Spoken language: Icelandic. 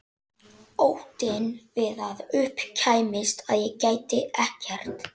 Magda, hvenær kemur tvisturinn?